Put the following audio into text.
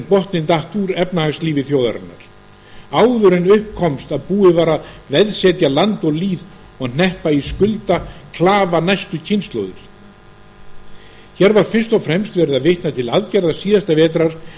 botninn datt úr efnahagslífi þjóðarinnar áður en upp komst að búið var að veðsetja land og lýð og hneppa í skuldaklafa næstu kynslóðir hér var fyrst og fremst verið að vitna til aðgerða síðasta vetrar